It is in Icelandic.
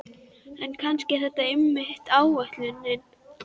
En kannski er það einmitt ætlunin.